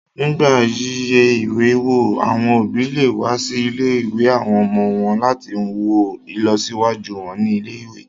Nígbà yíyẹ ìwé wò, àwọn òbí lè wá sí ilé-ìwé àwọn ọmọ wọn láti wo ìlọsíwájú wọn ní ilé-ìwé